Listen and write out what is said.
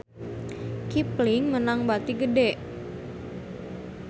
Kipling meunang bati gede